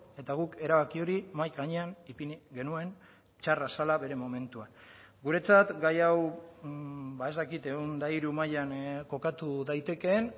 eta guk erabaki hori mahai gainean ipini genuen txarra zela bere momentuan guretzat gai hau ez dakit ehun eta hiru mailan kokatu daitekeen